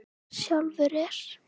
Sjálfur er